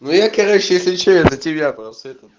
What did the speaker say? ну я короче если что я за тебя просто этот